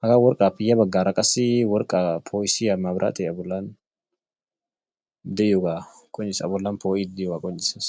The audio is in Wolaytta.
Hagaa worqqaappe ya baggaara qassi worqqaa ppo'issiya mabiraatee abollan de'iyogaa qonccisses. Abollan poo'iiddi diyogaa qonccisses.